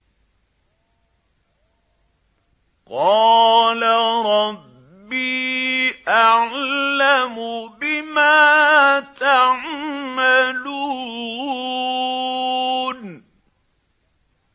قَالَ رَبِّي أَعْلَمُ بِمَا تَعْمَلُونَ